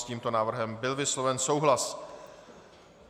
S tímto návrhem byl vysloven souhlas.